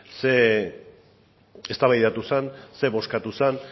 zer eztabaida zen zer bozkatu zen